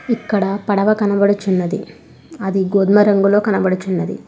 ఇక్కడ పడవ కనబడుచున్నది అది గోధుమ రంగులో కనబడుచున్నది.